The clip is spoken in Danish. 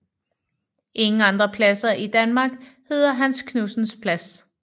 Ingen andre pladser i Danmark hedder Hans Knudsens Plads